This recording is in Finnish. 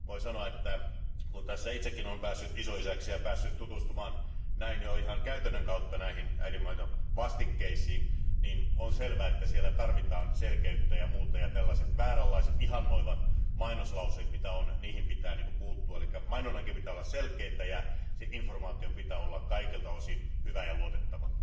Voin sanoa, että kun tässä itsekin on päässyt isoisäksi ja on päässyt tutustumaan näin jo ihan käytännön kautta näihin äidinmaidonvastikkeisiin, niin on selvä, että siellä tarvitaan selkeyttä ja muuta ja tällaiset vääränlaiset ihannoivat mainoslauseet, mitä on, niihin pitää puuttua, eli mainonnan pitää olla selkeää ja informaation pitää olla kaikilta osin hyvää ja luotettavaa.